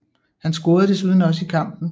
Han scorede desuden også i kampen